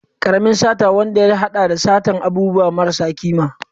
Karamin sata wanda ya hada da satar abubuwa marasa kima.